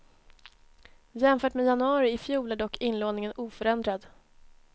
Jämfört med januari i fjol är dock inlåningen oförändrad.